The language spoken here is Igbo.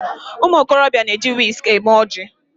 Ụmụokorobịa na-eji wiski eme oji